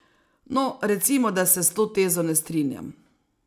No, recimo, da se s to tezo ne strinjam.